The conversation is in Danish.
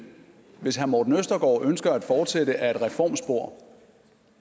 hvis herre morten østergaard ønsker at fortsætte ad et reformspor